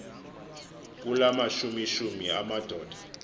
kula mashumishumi amadoda